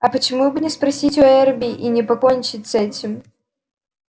а почему бы не спросить у эрби и не покончить с этим